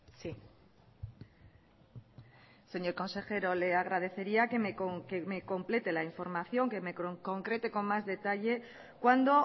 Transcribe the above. sí señor consejero le agradecería que me complete la información que me concrete con más detalle cuándo